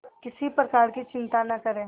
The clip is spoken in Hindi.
किसी प्रकार की चिंता न करें